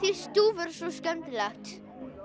stúfur er svo skemmtilegt